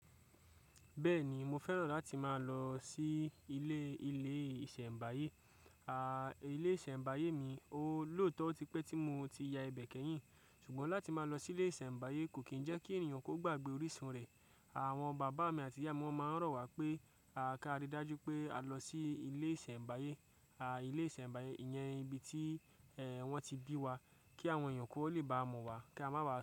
Bẹ́ẹ̀ni mo fẹ́ràn láti máa lọ sí ilé, ilé ìṣẹ̀mbáyé. Ilé ìṣẹ̀mbáyé mi, ó lóòótọ́ ó tí pé tí mo ti ya ibẹ̀ kẹ́yìn ṣùgbọ́n láti máa lọ sí ilé ìṣẹ̀mbáyé kò kí ń jẹ́ kí ènìyàn kó gbàgbé orísun rẹ̀. Àwọn bàbá mi àti ìyá wọn máa ń rọ̀ wá pé ká ríi dájú pé à lọ sí ilé ìṣẹ̀mbáyé. Ilé ìṣẹ̀mbáyé iyẹn ibi tí wọ́n ti bí wá kí àwọn èèyàn kó lè bá a mọ wá kí a má ba à.